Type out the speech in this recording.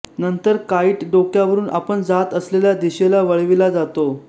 नंतर काईट डोक्यावरून आपण जात असलेल्या दिशेला वळविला जातो